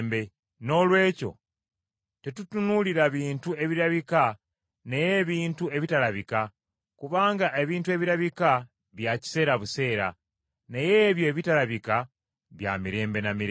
Noolwekyo tetutunuulira bintu ebirabika naye ebintu ebitalabika, kubanga ebintu ebirabika bya kiseera buseera, naye ebyo ebitalabika bya mirembe na mirembe.